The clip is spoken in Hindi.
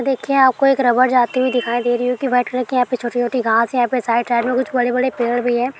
देखिये आपको एक रबड़ जाती हुईं दिखाई दे रही होगी व्हाइट कलर की यहाँ पे छोटी-छोटी घास हैं| यहाँ पे साइड - साइड में कुछ बड़े-बड़े पेड़ भी हैं।